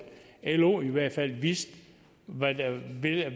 lo i hvert fald vidste hvad